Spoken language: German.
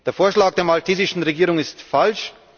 Der Vorschlag der maltesischen Regierung ist falsch.